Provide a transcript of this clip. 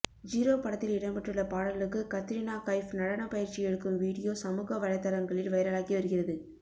zero படத்தில் இடம்பெற்றுள்ள பாடலுக்கு கத்ரினா கைஃப் நடன பயிற்சி எடுக்கும் வீடியோ சமூக வலைதளங்களில் வைரலாகி வருகிறது